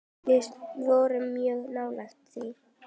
Við vorum mjög nálægt því.